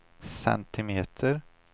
centimeter